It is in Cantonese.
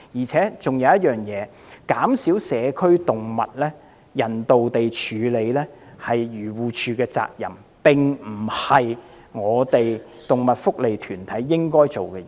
此外，人道地減少社區動物是漁護署的責任，並非動物福利團體應做的事情。